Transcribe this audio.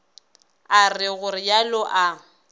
a re go realo a